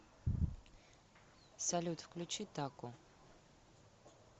салют включи таку